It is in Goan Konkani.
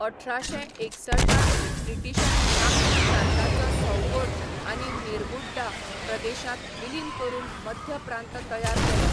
अठराशें एकसठ त ब्रिटीशांनी नागपूर प्रांताचो सौगोर आनी नेर्बुड्डा प्रदेशांत विलीन करून मध्य प्रांत तयार केलो.